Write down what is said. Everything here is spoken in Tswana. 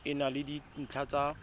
e na le dintlha tsa